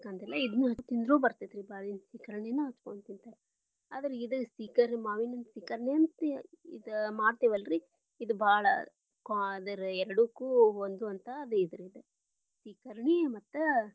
ತಿನ್ನಬೇಕಂತಿಲ್ಲಾ ಇದನ್ನು ಹಚ್ಕೊಂಡ ತಿಂದ್ರು ಬರತೇತಿ ಮಾವಿನ ಸೀಕರ್ಣಿನು ಹಚ್ಕೊಂಡ ತಿನ್ನಬಹುದ. ಆದರ ಇದ ಸೀಕರ್ಣಿ ಮಾವಿನ ಹಣ್ಣ ಸೀಕರ್ಣಿ ಅಂತೇ ಇದ ಮಾಡ್ತೇವಲ್ಲರಿ ಇದ ಬಾಳ ಅದರ ಎರಡಕ್ಕೂ ಹೊಂದುವಂತಾದರೀ ಇದ ಸೀಕರ್ಣಿ ಮತ್ತ.